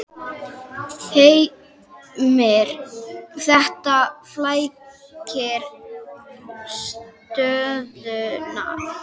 Heimir: Þetta flækir stöðuna?